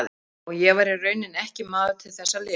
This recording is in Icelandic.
Og ég var í rauninni ekki maður til þess að lifa.